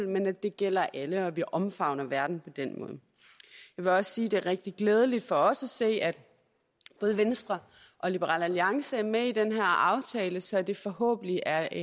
men at det gælder alle og at vi omfavner verden jeg vil også sige at det er rigtig glædeligt for os at se at både venstre og liberal alliance er med i den her aftale så det forhåbentlig er